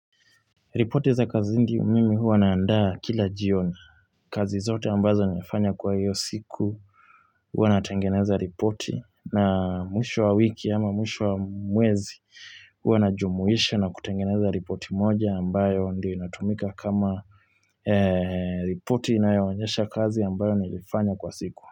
Ripoteza kazindi mimi huwa naandaa kila jioni. Kazi zote ambazo nilifanya kwa hiyo siku. Huwa natengeneza ripoti na mwisho wa wiki ama mwisho wa mwezi. Huwa najumuisha na kutengeneza ripoti moja ambayo ndiyo inatumika kama ripoti inayoanyesha kazi ambayo nilifanya kwa siku.